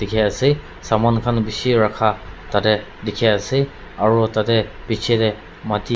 dikhiase saman khan bishi rakha tatae dikhiase aro tatae bichae tae.